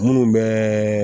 Minnu bɛ